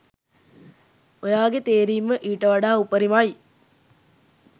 ඔයාගේ තේරීම ඊට වඩා උපරිමයි.